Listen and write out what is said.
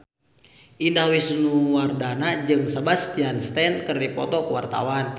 Indah Wisnuwardana jeung Sebastian Stan keur dipoto ku wartawan